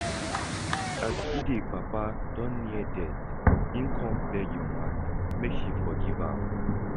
As Jide papa don near death, im come beg im wife make she forgive am